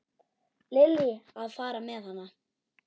Lillý: Að fara með hana?